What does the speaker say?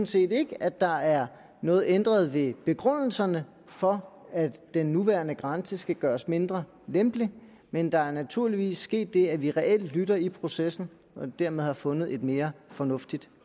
set ikke at der er noget ændret ved begrundelserne for at den nuværende grænse skal gøres mindre lempelig men der er naturligvis sket det at vi reelt lytter i processen og dermed har fundet et mere fornuftigt